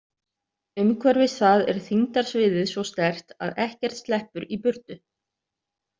Umhverfis það er þyngdarsviðið svo sterkt að ekkert sleppur í burtu.